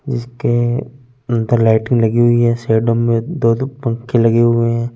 जिसके अंदर लाइटींग लगी हुई है साइडों में दो दो पंखे लगे हुए हैं।